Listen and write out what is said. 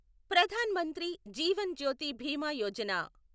Pradhan Mantri Jeevan Jyoti Bima Yojana